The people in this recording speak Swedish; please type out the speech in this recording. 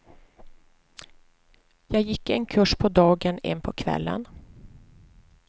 Jag gick en kurs på dagen, en på kvällen.